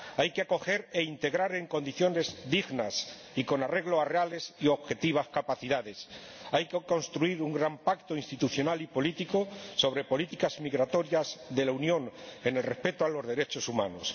Hay que acoger e integrar en condiciones dignas y con arreglo a capacidades reales y objetivas. Hay que construir un gran pacto institucional y político sobre las políticas migratorias de la Unión, respetando los derechos humanos.